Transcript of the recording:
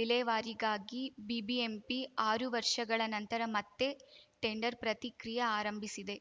ವಿಲೇವಾರಿಗಾಗಿ BBMP ಆರು ವರ್ಷಗಳ ನಂತರ ಮತ್ತೆ ಟೆಂಡರ್‌ ಪ್ರತಿಕ್ರಿಯೆ ಆರಂಭಿಸಿದೆ